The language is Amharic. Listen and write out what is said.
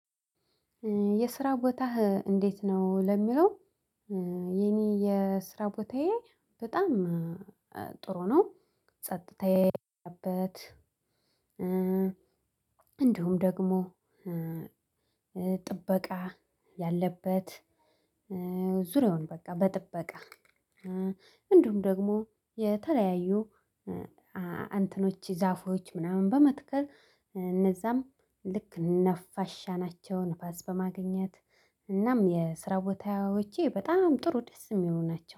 የስራ ቦታህ እንዴት ነው? ለሚለው የኔ የስራ ቦታዬ በጣም ጥሩ ነው። ጸጥታዬ ያለበት እንዲሁም ደግሞ ጥበቃ ያለበት። ዙሪያውን በቃ በጥበቃ እንዲሁም ደግሞ የተለያዩ እንትኖች ዛፎች ምናምን በመትከል እነዛም ልክ ነፋሻ ናቸው ንፋስ በማግኘት እናም የስራ ቦታዎቼ በጣም ጥሩ ደስ የሚሉ ናቸው።